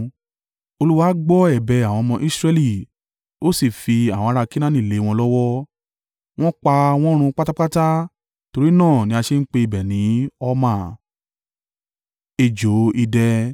Olúwa gbọ́ ẹ̀bẹ̀ àwọn ọmọ Israẹli, ó sì fi àwọn ará Kenaani lé wọn lọ́wọ́. Wọ́n pa wọ́n run pátápátá; torí náà ni a ṣe ń pe ibẹ̀ ní Horma.